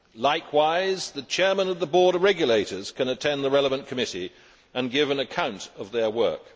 Likewise, the chairman of the board of regulators can attend the relevant committee and give an account of their work.